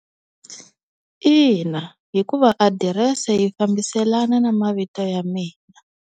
Ina, hikuva adirese yi fambiselana na mavito ya mina.